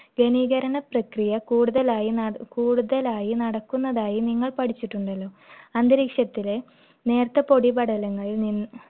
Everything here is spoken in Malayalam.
പ്രക്രിയ കൂടുതലായി~ കൂടുതലായി നടക്കുന്നതായി നിങ്ങൾ പഠിച്ചിട്ടുണ്ടല്ലോ. അന്തരീക്ഷത്തിലെ നേർത്ത പൊടിപടലങ്ങളിൽ നിന്ന്